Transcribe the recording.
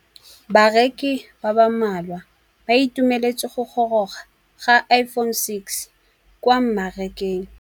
Bareki ba ba malwa ba ituemeletse go gôrôga ga Iphone6 kwa mmarakeng.